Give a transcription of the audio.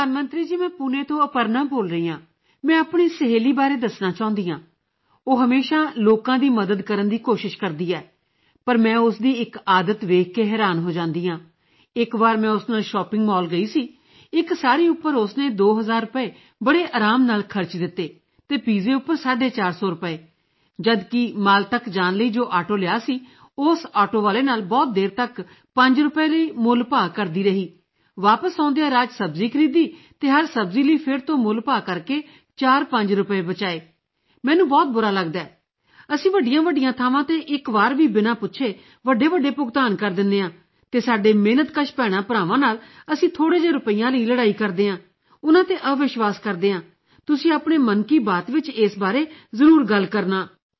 ਪ੍ਰਧਾਨ ਮੰਤਰੀ ਜੀ ਮੈਂ ਪੂਣੇ ਤੋਂ ਅਪਰਨਾ ਬੋਲ ਰਹੀ ਹਾਂ ਮੈਂ ਆਪਣੀ ਸਹੇਲੀ ਬਾਰੇ ਦੱਸਣਾ ਚਾਹੁੰਦੀ ਹਾਂ ਉਹ ਹਮੇਸ਼ਾ ਲੋਕਾਂ ਦੀ ਮਦਦ ਕਰਨ ਦੀ ਕੋਸ਼ਿਸ਼ ਕਰਦੀ ਹੈ ਪਰ ਮੈਂ ਉਸ ਦੀ ਇੱਕ ਆਦਤ ਵੇਖ ਕੇ ਹੈਰਾਨ ਹੋ ਜਾਂਦੀ ਹਾਂ ਇੱਕ ਵਾਰ ਮੈਂ ਉਸ ਨਾਲ ਸ਼ਾਪਿੰਗ ਕਰਨ ਮਾਲ ਗਈ ਸੀ ਇੱਕ ਸਾੜੀ ਉੱਪਰ ਉਸ ਨੇ ਦੋ ਹਜ਼ਾਰ ਰੁਪਏ ਬੜੇ ਆਰਾਮ ਨਾਲ ਖਰਚ ਦਿੱਤੇ ਅਤੇ ਪੀਜ਼ੇ ਉੱਪਰ 450 ਰੁਪਏ ਜਦ ਕਿ ਮਾਲ ਤੱਕ ਜਾਣ ਲਈ ਜੋ ਆਟੋ ਲਿਆ ਸੀ ਉਸ ਆਟੋ ਵਾਲੇ ਨਾਲ ਬਹੁਤ ਦੇਰ ਤੱਕ ਪੰਜ ਰੁਪਏ ਲਈ ਮੁੱਲਭਾਅ ਕਰਦੀ ਰਹੀ ਵਾਪਸ ਆਉਂਦਿਆਂ ਰਾਹ ਚ ਸਬਜ਼ੀ ਖਰੀਦੀ ਅਤੇ ਹਰ ਸਬਜ਼ੀ ਲਈ ਫਿਰ ਤੋਂ ਮੁੱਲਭਾਅ ਕਰਕੇ 45 ਰੁਪਏ ਬਚਾਏ ਮੈਨੂੰ ਬਹੁਤ ਬੁਰਾ ਲੱਗਦਾ ਹੈ ਅਸੀਂ ਵੱਡੀਆਂਵੱਡੀਆਂ ਥਾਵਾਂ ਤੇ ਇੱਕ ਵਾਰ ਵੀ ਬਿਨਾਂ ਪੁੱਛਿਆਂ ਵੱਡੇਵੱਡੇ ਭੁਗਤਾਨ ਕਰ ਦਿੰਦੇ ਹਾਂ ਅਤੇ ਸਾਡੇ ਮਿਹਨਤਕਸ਼ ਭਰਾਭੈਣਾਂ ਨਾਲ ਥੋੜ੍ਹੇ ਜਿਹੇ ਰੁਪਈਆਂ ਲਈ ਝਗੜਾ ਕਰਦੇ ਹਾਂ ਉਨਾਂ ਉੱਪਰ ਬੇਵਿਸਾਹੀ ਕਰਦੇ ਹਾਂ ਤੁਸੀਂ ਆਪਣੀ ਮਨ ਕੀ ਬਾਤ ਚ ਇਸ ਬਾਰੇ ਜ਼ਰੂਰ ਦੱਸੋ